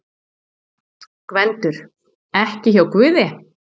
GVENDUR: Ekki hjá guði?